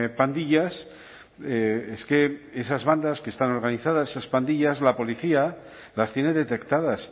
pandillas es que esas bandas que están organizadas esas plantillas la policía las tiene detectadas